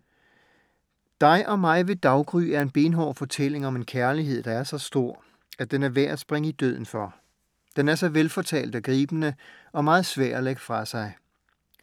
Dig og mig ved daggry er en benhård fortælling om en kærlighed, der er så stor, at den er værd at springe i døden for. Den er så velfortalt og gribende. Og meget svær at lægge fra sig!